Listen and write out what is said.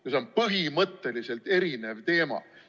See on põhimõtteliselt erinev teema.